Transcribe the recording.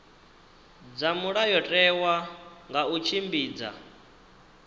dza mulayotewa nga u tshimbidza